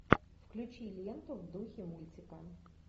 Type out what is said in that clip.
включи ленту в духе мультика